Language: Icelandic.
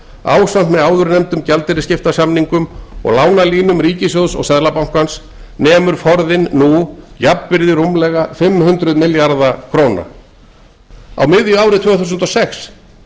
ásamt með áðurnefndum gjaldeyrisskiptasamningum og lánalínum ríkissjóðs og seðlabankans nemur forðinn nú jafnvirði rúmlega fimm hundruð milljarða króna á miðju ári tvö þúsund og sex